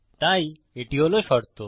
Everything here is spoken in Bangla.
তাই এটি হল শর্ত